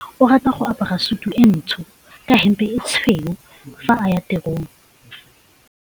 Onkabetse o rata go apara sutu e ntsho ka hempe e tshweu fa a ya tirong.